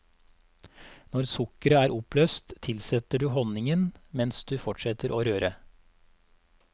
Når sukkeret er oppløst tilsetter du honningen mens du fortsetter å røre.